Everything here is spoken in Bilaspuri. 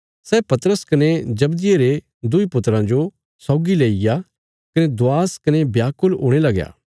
सै पतरस कने जब्दिये रे दुईं पुत्राँ जो सौगी लेईया कने दवास कने व्याकुल हुणे लगया